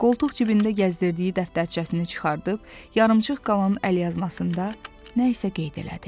Qoltuq cibində gəzdirdiyi dəftərçəsini çıxarıb, yarımçıq qalan əlyazmasında nə isə qeyd elədi.